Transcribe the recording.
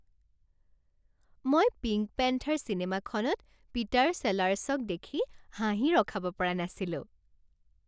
মই Pink Panther চিনেমাখনত Peter চেলাৰ্ছক দেখি হাঁহি ৰখাব পৰা নাছিলোঁ।